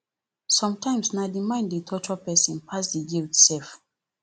somtimes na di mind dey torture pesin pass di guilt sef